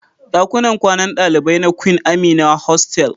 Dakunan kwanan dalibai na Queen Amina hostel.